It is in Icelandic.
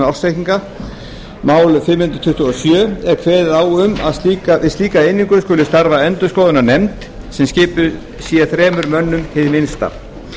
um ársreikninga er kveðið á um að við slíka einingu skuli starfa endurskoðunarnefnd sem skipuð sé þremur mönnum hið minnsta